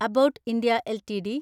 Abbott India LTD